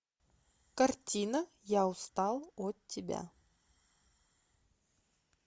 картина я устал от тебя